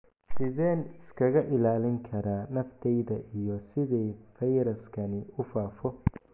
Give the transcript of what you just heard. Sideen iskaga ilaalin karaa naftayda iyo sidee fayraskani u faafo?